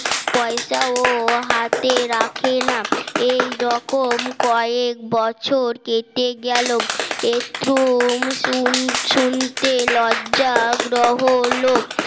পয়সা ও হাতে রাখে না এই রকম কয়েক বছর কেটে গেল এ থ্রুম শুনতে লজ্জা গ্রহণ